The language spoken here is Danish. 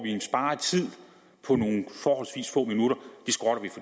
en sparet tid på nogle forholdsvis få minutter skrotter